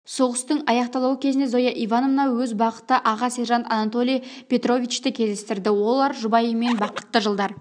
соғыстың аяқталу кезінде зоя ивановна өз бақыты аға сержант анатолий петровичті кездестірді олар жұбайымен бақытты жылдар